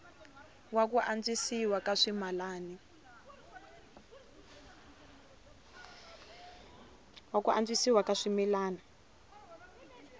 wa ku antswisiwa ka swimila